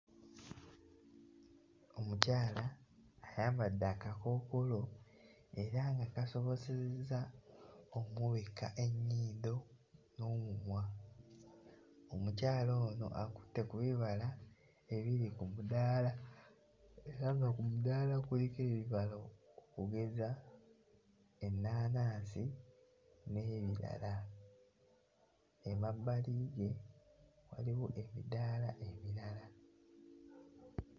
Omukyala ayambadde akakookolo era nga kasobosezza ommubikka ennyindo n'omumwa, omukyala ono akutte ku bibala ebiri ku mudaala era nga ku mudaala kuliko ebibala. Okugeza, ennaanaasi n'ebirala. Emabbali we waliwo emidaala emirala.